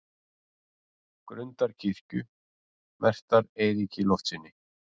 Grundarkirkju, merktar Eiríki Loftssyni.